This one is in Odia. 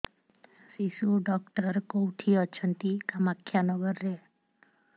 ଶିଶୁ ଡକ୍ଟର କୋଉଠି ଅଛନ୍ତି କାମାକ୍ଷାନଗରରେ